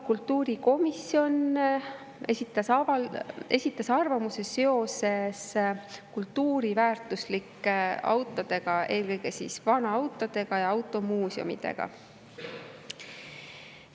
Kultuurikomisjon esitas arvamuse, mis puudutas kultuuriväärtuslikke autosid, eelkõige vanaautosid ja automuuseume.